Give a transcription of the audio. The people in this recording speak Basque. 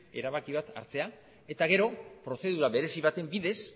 erabaki bat hartzea eta gero prozedura berezi baten bidez